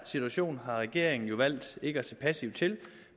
situation har regeringen jo valgt ikke at se passivt til